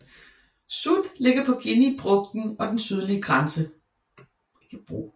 Sud ligger på Guineabrugten og den sydlige grænse